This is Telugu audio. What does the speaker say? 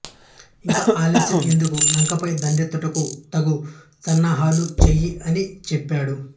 ఇక ఆలస్యం ఎందుకు లంకపై దండెత్తుటకు తగు సన్నాహాలు చెయ్యి అని చెప్పాడు